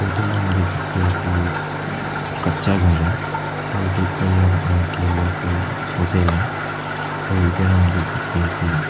photo में हम दे सकते हैं कि ये कच्चा घर है और देखकर यह लग रहा है कि यह कोई होटल है और इधर हम देख सकते हैं कि--